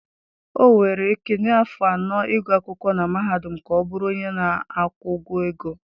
Ọ were Ekene afọ anọ ịgụ akwụkwọ na mahadum ka ọ bụrụ onye na-akwụ ụgwọ ego